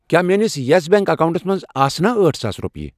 کیٛاہ میٲنِس یَس بیٚنٛک اکاونٹَس منٛز آسنہٕ أٹھ ساس رۄپیہِ؟